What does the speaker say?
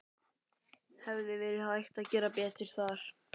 Hefði verið hægt að gera betur þar?